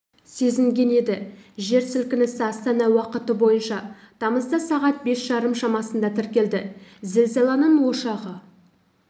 сезінген еді жер сілкінісі астана уақыты бойынша тамызда сағат бес жарым шамасында тіркелді зілзаланың ошағы